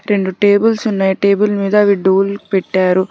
రెండు టేబుల్స్ ఉన్నాయి టేబుల్ మీద అవి డోల్ పెట్టారు.